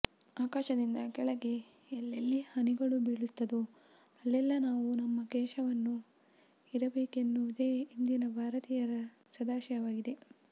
ಆಕಾಶದಿಂದ ಕೆಳಗೆ ಎಲ್ಲೆಲ್ಲಿ ಹನಿಗಳು ಬೀಳುತ್ತದೋ ಅಲ್ಲೆಲ್ಲಾ ನಾವೂ ನಮ್ಮ ಕೇಶವನೂ ಇರಬೇಕೆನ್ನುವುದೇ ಇಂದಿನ ಭಾರತೀಯರ ಸದಾಶಯವಾಗಿದೆ